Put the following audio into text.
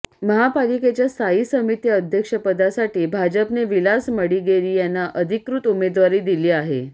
महापालिकेच्या स्थायी समिती अध्यक्षपदासाठी भाजपने विलास मडिगेरी यांना अधिकृत उमेदवारी दिली आहे